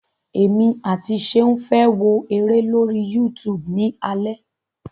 Èmi àti Ṣeun fẹ́ wo eré lórí YouTube ni alẹ́.